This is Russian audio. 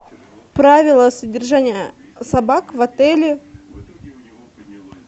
правила содержания собак в отеле